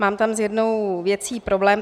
Mám tam s jednou věcí problém.